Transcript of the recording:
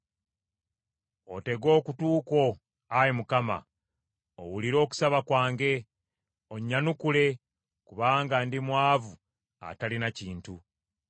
Otege okutu kwo, Ayi Mukama , owulire okusaba kwange, onnyanukule, kubanga ndi mwavu atalina kintu.